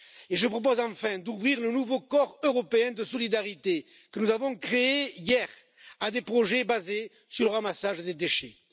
Je propose enfin d'ouvrir le nouveau corps européen de solidarité, que nous avons créé hier, à des projets basés sur le ramassage des déchets.